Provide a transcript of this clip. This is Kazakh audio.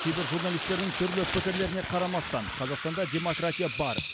кейбір журналистердің түрлі пікірлеріне қарамастан қазақстанда демократия бар